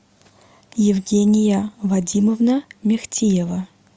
евгения вадимовна мехтиева